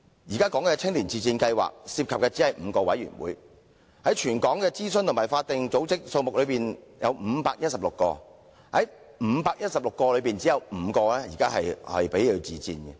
現時青年委員自薦試行計劃涉及的只是5個委員會，而全港的諮詢和法定組織則有多達516個卻只有其中5個接受自薦，真的是九牛一毛。